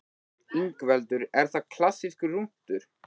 Ingveldur: Er það klassískur rúntur?